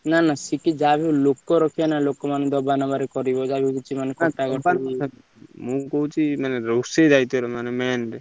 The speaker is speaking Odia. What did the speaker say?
ନା ନା ସେଠି ଲୋକ ଯାହାବି ଲୋକ ରଖିବ ନାଁ ଲୋକ ମାନଙ୍କୁ ଦବା ନବା ରେ ମୁଁ କହୁଛି ମାନେ ରୋଷେଇ ଦାଇତ୍ଵ ରେ ମାନେ main ।